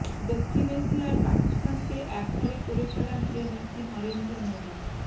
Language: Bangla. দক্ষিণ এশিয়ায় পাকিস্তানকে একঘরে করে ফেলার যে নীতি নরেন্দ্র মোদি